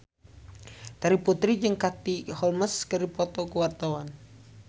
Terry Putri jeung Katie Holmes keur dipoto ku wartawan